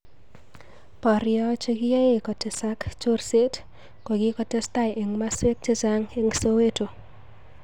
Poryo chekiyoe kotesak chorseet kokikotestai eng masweek chechamg eng Soweto